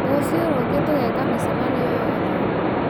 rũciũ rũngĩ tũgeka mĩcemanio yothe